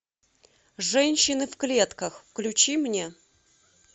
женщины в клетках включи мне